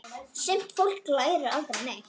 Sumt fólk lærir aldrei neitt.